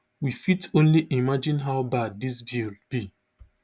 we fit only imagine how bad dis bill be